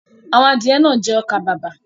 Àwọn adìẹ náà jẹ ọkà-bàbà.